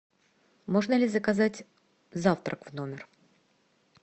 можно ли заказать завтрак в номер